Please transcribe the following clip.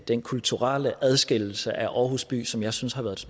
den kulturelle adskillelse af aarhus by som jeg synes har været